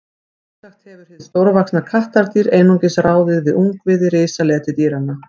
Sjálfsagt hefur hið stórvaxna kattardýr einungis ráðið við ungviði risaletidýranna.